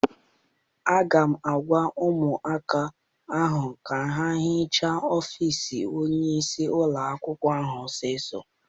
Aga m agwa ụmụaka ahụ ka ha hichaa ọfịịsi onyeisi ụlọakwụkwọ ahụ ọsọ!